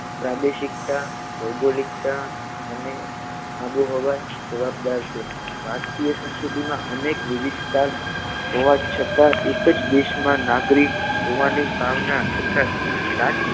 પ્રાદેશિકતા ભૌગોલિકતા અને આબોહવા જવાબદાર છે ભારતીય સંસ્કૃતિમાં અનેક વિવિધતા હોવા છતાં એક જ દેશમાં નાગરિક હોવાની ભાવના તથા રાજ